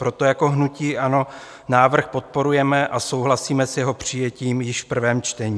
Proto jako hnutí ANO návrh podporujeme a souhlasíme s jeho přijetím již v prvém čtení.